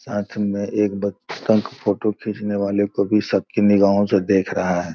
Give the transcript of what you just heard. साथ में एक बत डक फोटो खींचने वाले को भी शक की निगाहों से देख रहा है।